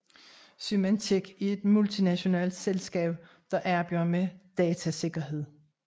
Symantec er et multinationalt selskab der arbejder med datasikkerhed